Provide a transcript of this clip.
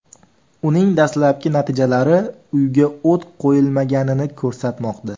Uning dastlabki natijalari uyga o‘t qo‘yilmaganini ko‘rsatmoqda.